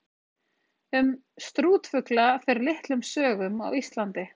Um strútfugla fer litlum sögum á Íslandi.